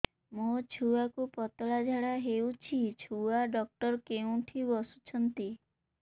ମୋ ଛୁଆକୁ ପତଳା ଝାଡ଼ା ହେଉଛି ଛୁଆ ଡକ୍ଟର କେଉଁଠି ବସୁଛନ୍ତି